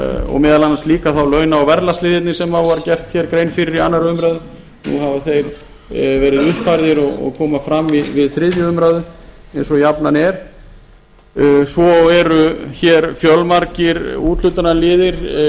og meðal annars þá líka launa og verðlagsliðirnir sem gerð var grein fyrir í annarri umræðu nú hafa þeir verið uppfærðir og koma fram við þriðju umræðu eins og jafnan er svo eru fjölmargir úthlutunarliðir